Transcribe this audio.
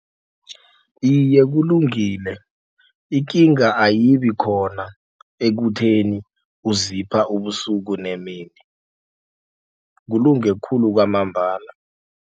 Iye, kulungile ikinga ayibi khona ekutheni uzipha ubusuku nemini kulunge khulu kwamambala.